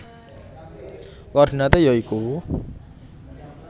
Koordinaté ya iku